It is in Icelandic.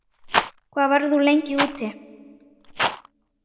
Hvað verður þú lengi úti?